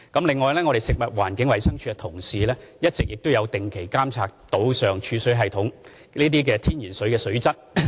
此外，食環署的同事一直有定期監察島上儲水系統內天然水的水質。